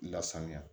Lasanuya